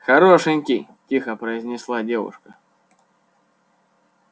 хорошенький тихо произнесла девушка